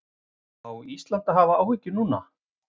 Á Ísland að hafa áhyggjur núna?